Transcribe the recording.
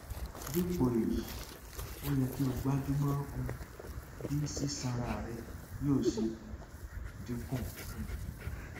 dípò èyí ó yẹ kí o gbájúmọ um bí sísanra rẹ yóò ṣe um dínkù um